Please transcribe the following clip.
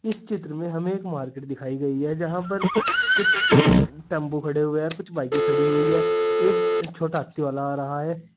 इस चित्र में हमें एक मार्केट दिखाई गई है यहां पर कुछ टेंपो खड़े हुए और कुछ बाईकें की खड़ी हुई है एक छोटा हाथी वाला आ रहा है।